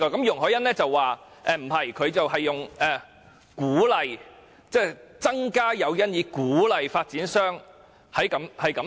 容海恩議員則建議"增加誘因以鼓勵發展商"進行此事。